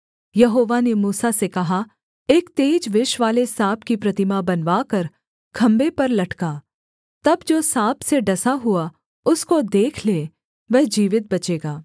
यहोवा ने मूसा से कहा एक तेज विषवाले साँप की प्रतिमा बनवाकर खम्भे पर लटका तब जो साँप से डसा हुआ उसको देख ले वह जीवित बचेगा